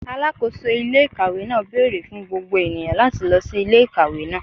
Alakoso ile-ikawe naa beere fun gbogbo eniyan lati lọ si ile-ikawe naa